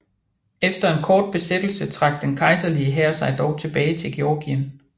Efter en kort besættelse trak den kejserlige hær sig dog tilbage til Georgien